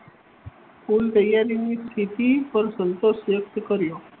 કુલ તૈયારીની સ્થિતિ પર સંતોષ વ્યક્ત કર્યો